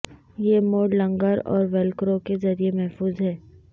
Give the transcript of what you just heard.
یہ موڑ لنگر اور ویلکرو کے ذریعے محفوظ ہے